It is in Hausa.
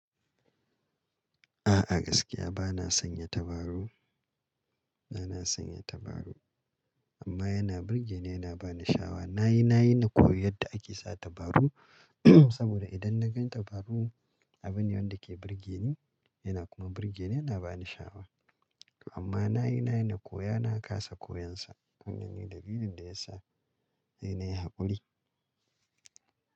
A'a gaskiya bana sanya dabaru, bana sanya dabaru amma yana burge ni yana bani sha'awa. Na yi, na yi na koyi yadda ake sa dabaru saboda idan na gan dabaru abin ne wanda ke burge ni yana kuma burge ni yana bani sha'awa. Amma na yi, na yi na koya na kasa koyon sa wannan ne da lilin da ya sa nayi na yi hakuri.